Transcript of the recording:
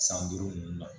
San duuru ninnu na